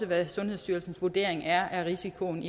hvad sundhedsstyrelsens vurdering af risikoen